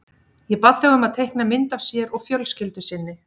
Ég bað þau um að teikna mynd af sér og fjölskyldu sinni.